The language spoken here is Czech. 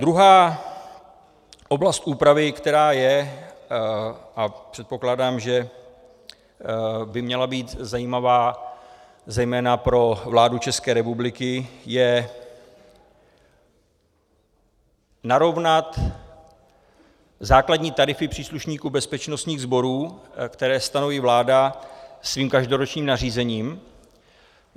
Druhá oblast úpravy, která je, a předpokládám, že by měla být zajímavá zejména pro vládu České republiky, je narovnat základní tarify příslušníků bezpečnostních sborů, které stanoví vláda svým každoročním nařízením.